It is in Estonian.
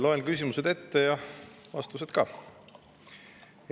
Loen ette küsimused ja vastused ka.